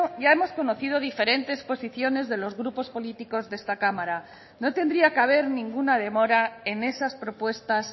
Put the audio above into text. ya hemos conocido diferentes posiciones de los grupos políticos de esta cámara no tendría que haber ninguna demora en esas propuestas